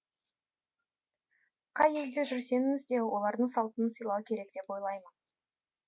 қай елде жүрсеңіз де олардың салтын сыйлау керек деп ойлаймын